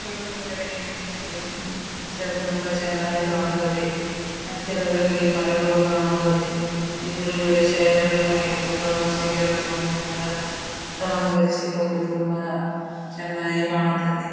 ಕೆರೆಯ ಪಿಚ್ಚರ್ ತುಂಬ ಚೆನ್ನಾಗಿ ಕಾಣುತ್ತದೆ ಹತ್ತಿರದಲ್ಲಿ ಮರಗಳು ಕಾಣುತ್ತದೆ ಎದುರುಗಡೆ ಚೇರನ್ನು ಇಟ್ಟು ಪ್ರವಾಸಿಗರನ್ನು ತುಂಬಾ ಅಲಂಕರಿಸಿಕೊಂಡು ತುಂಬಾ ಚೆನ್ನಾಗಿ ಕಾಣುತ್ತದೆ.